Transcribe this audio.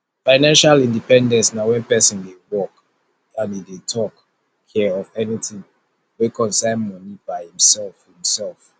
financial independence na when persin de work and e de talk care of anything wey concern money by himself himself